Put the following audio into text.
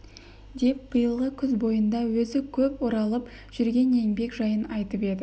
деп биылғы күз бойында өзі көп оралып жүрген еңбек жайын айтып еді